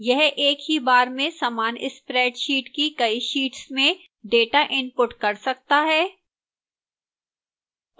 यह एक ही बार में समान spreadsheet की कई शीट्स में data input कर सकता है